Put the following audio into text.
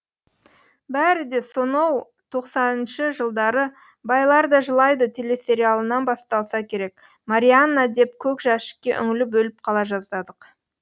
бәрі де соноу тоқсаныншы жылдары байлар да жылайды телесериалынан басталса керек марианна деп көк жәшікке үңіліп өліп қала жаздадық